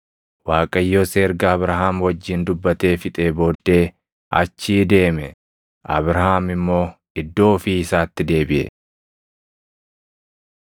Waaqayyos erga Abrahaam wajjin dubbatee fixee booddee achii deeme. Abrahaam immoo iddoo ofii isaatti deebiʼe.